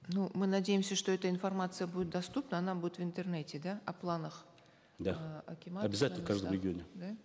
ну мы надеемся что эта информация будет доступна она будет в интернете да о планах да э акимата обязательно в каждом регионе да